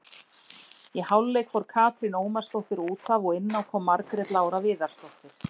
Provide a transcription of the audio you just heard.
Í hálfleik fór Katrín Ómarsdóttir útaf og inná kom Margrét Lára Viðarsdóttir.